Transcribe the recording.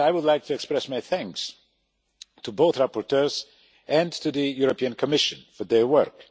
President, I would like to express my thanks to both rapporteurs and to the European Commission for their work.